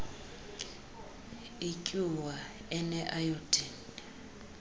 ityuwa ene ayodini